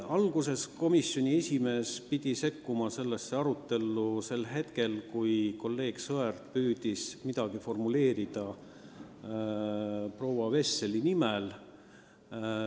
Alguses komisjoni esimees pidi sellesse isegi sekkuma, kui kolleeg Sõerd püüdis midagi formuleerida proua Vesseli nimel.